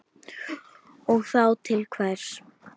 Og þá til hvers?